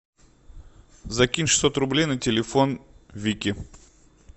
закинь шестьсот рублей на телефон вики